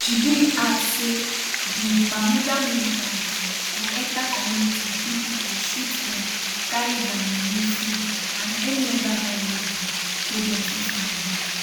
jibril add say di mahmuda militants go enter community kill pipo shoot dem carry dia money food and any oda valuable wey dem fit find